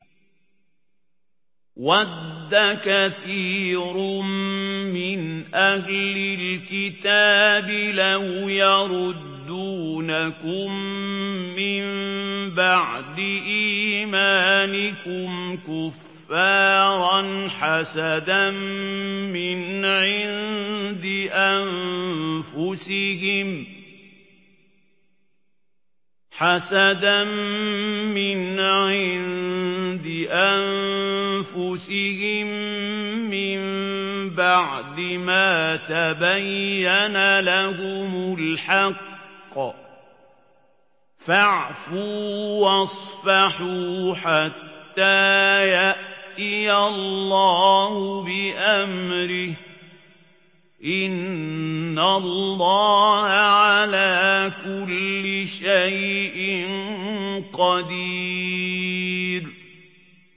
وَدَّ كَثِيرٌ مِّنْ أَهْلِ الْكِتَابِ لَوْ يَرُدُّونَكُم مِّن بَعْدِ إِيمَانِكُمْ كُفَّارًا حَسَدًا مِّنْ عِندِ أَنفُسِهِم مِّن بَعْدِ مَا تَبَيَّنَ لَهُمُ الْحَقُّ ۖ فَاعْفُوا وَاصْفَحُوا حَتَّىٰ يَأْتِيَ اللَّهُ بِأَمْرِهِ ۗ إِنَّ اللَّهَ عَلَىٰ كُلِّ شَيْءٍ قَدِيرٌ